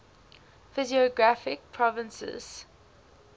physiographic provinces